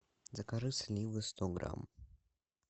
закажи сливы сто грамм